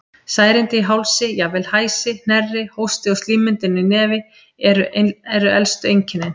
Særindi í hálsi, jafnvel hæsi, hnerri, hósti og slímmyndun í nefi eru elstu einkennin.